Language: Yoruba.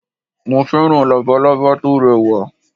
Mo féràn Labalábá tórẹ wà